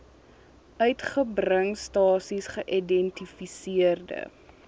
uitgebring stasies geïdentifiseerde